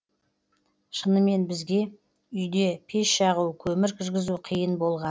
шынымен бізге үйде пеш жағу көмір кіргізу қиын болған